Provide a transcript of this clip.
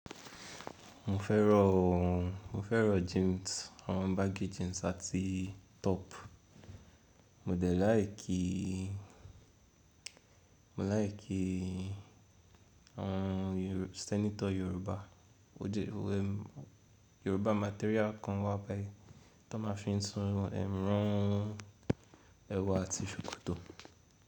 Mo fẹ́ràn ooo, mo fẹ́ràn jeans, àwọn bàgì jeans àti top. Mo dẹ̀ láì kí, mo láì kí àwọn senator Yoruba, ó jẹ́ Yoruba material kan wá báyìí tí wọ́n máa fí ń tún ẹran, ẹwu àti sokoto.